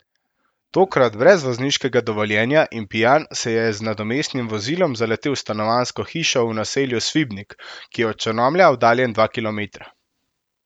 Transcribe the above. Tokrat brez vozniškega dovoljenja in pijan se je z nadomestnim vozilom zaletel v stanovanjsko hišo v naselju Svibnik, ki je od Črnomlja oddaljen dva kilometra.